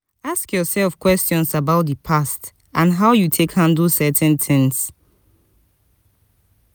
ask yourself questions about di past and how you take handle certain things